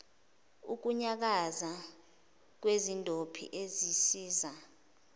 ukunyakaza kwezindophi ezisiza